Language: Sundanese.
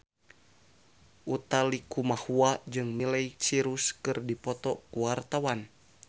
Utha Likumahua jeung Miley Cyrus keur dipoto ku wartawan